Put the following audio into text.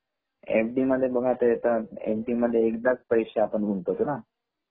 FD. आपण एकदाच पैसे गुंतवतो